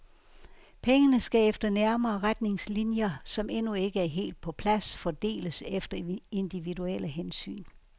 Pengene skal efter nærmere retningslinjer, som endnu ikke er helt på plads, fordeles efter individuelle hensyn.